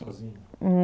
Sozinha?